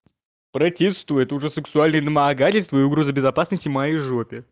протестую это уже сексуальные домогательства и угроза безопасности моей жопе